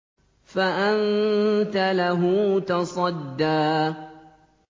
فَأَنتَ لَهُ تَصَدَّىٰ